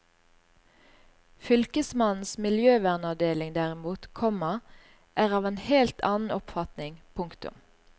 Fylkesmannens miljøvernavdeling derimot, komma er av en helt annen oppfatning. punktum